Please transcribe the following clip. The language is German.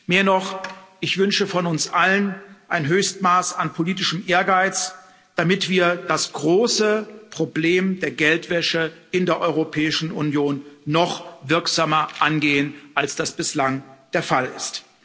Mehr noch, ich wünsche von uns allen ein Höchstmaß an politischem Ehrgeiz, damit wir das große Problem der Geldwäsche in der Europäischen Union noch wirksamer angehen, als es bislang der Fall ist!